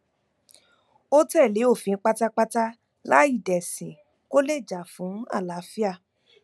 ó tẹlé òfin pátápátá láì dẹsìn kó lè jà fún àlàáfíà